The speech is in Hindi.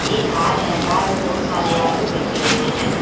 एक कार है कार में बहुत सारे आदमी बैठे हुए हैं।